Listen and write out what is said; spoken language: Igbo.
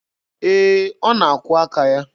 Ee, ọ na-akwụọ aka ya.